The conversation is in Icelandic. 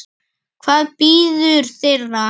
Hvað bíður þeirra?